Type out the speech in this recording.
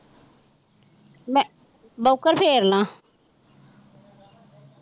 ਮੈਂ ਬੋਕਰ ਫੇਰਨਾ।